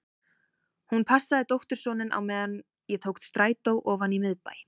Hún passaði dóttursoninn á meðan ég tók strætó ofan í miðbæ.